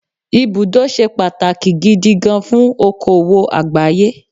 Ibùdó ṣe pàtàkì gidi gan fún òkòwò àgbáyé.